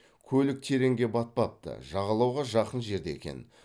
көлік тереңге батпапты жағалауға жақын жерде екен